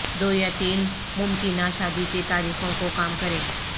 دو یا تین ممکنہ شادی کی تاریخوں کو کام کریں